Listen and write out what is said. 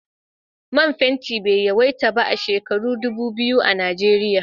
Man fenti bai yawaita ba a shekaru dubu biyu a Nijeriya.